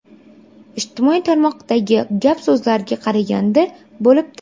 Ijtimoiy tarmoqdagi gap so‘zlarga qaraganda… bo‘libdi.